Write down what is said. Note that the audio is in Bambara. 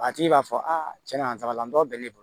A tigi b'a fɔ aa cɛn nata la dɔ bɛ ne bolo